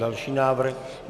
Další návrh.